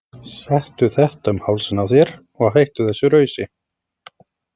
Settu þetta um hálsinn á þér og hættu þessu rausi!